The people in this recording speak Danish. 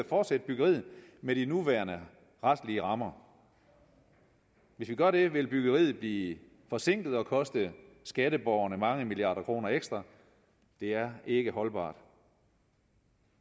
fortsætte byggeriet med de nuværende retslige rammer hvis vi gør det vil byggeriet blive forsinket og koste skatteborgerne mange milliarder kroner ekstra det er ikke holdbart